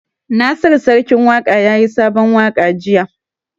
Nasiru Sarkin Waƙa yayi sabon waƙa jiya